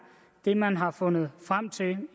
det man har fundet frem til